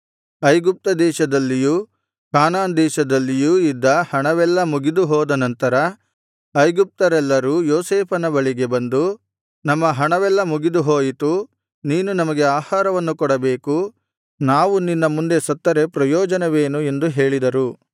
ಐಗುಪ್ತ ದೇಶದಲ್ಲಿಯೂ ಕಾನಾನ್‌ ದೇಶದಲ್ಲಿಯೂ ಇದ್ದ ಹಣವೆಲ್ಲಾ ಮುಗಿದುಹೋದ ನಂತರ ಐಗುಪ್ತರೆಲ್ಲರೂ ಯೋಸೇಫನ ಬಳಿಗೆ ಬಂದು ನಮ್ಮ ಹಣವೆಲ್ಲಾ ಮುಗಿದುಹೋಯಿತು ನೀನು ನಮಗೆ ಆಹಾರವನ್ನು ಕೊಡಬೇಕು ನಾವು ನಿನ್ನ ಮುಂದೆ ಸತ್ತರೆ ಪ್ರಯೋಜನವೇನು ಎಂದು ಹೇಳಿದರು